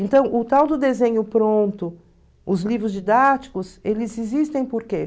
Então o tal do desenho pronto, os livros didáticos, eles existem por quê?